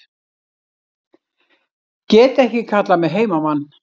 Get ekki kallað mig heimamann